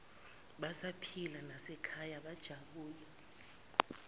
besaphila nasekhaya bajabula